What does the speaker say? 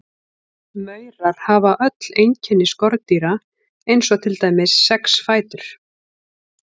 Maurar hafa öll einkenni skordýra eins og til dæmis sex fætur.